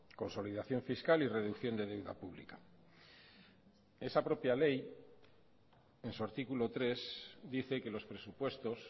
consolidación fiscal y reducción de deuda pública esa propia ley en su artículo tres dice que los presupuestos